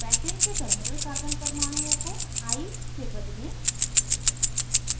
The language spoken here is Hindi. पैंटेन के terminal carbon परमाणुओं को i से बदलें